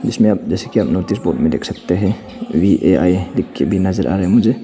जैसे कि आप नोटिस बोर्ड में देख सकते हैं वी_आई_ए लिख के भी नजर आ रही है मुझे।